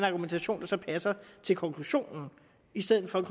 argumentation der så passer til konklusionen i stedet for en